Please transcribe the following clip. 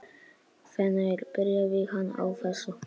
Hvenær byrjaði hann á þessu?